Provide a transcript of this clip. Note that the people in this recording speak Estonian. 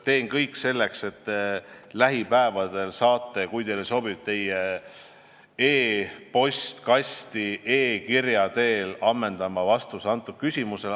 Teen kõik selleks, et te lähipäevadel saaksite, kui teile sobib, e-postkasti e-kirja teel ammendava vastuse.